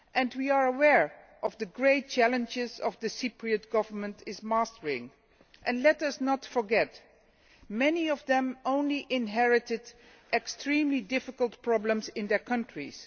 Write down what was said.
We are aware of the great challenges that the Cypriot Government is facing. Let us not forget that many of them have only inherited the extremely difficult problems in their countries.